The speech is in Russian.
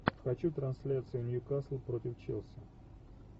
хочу трансляцию ньюкасл против челси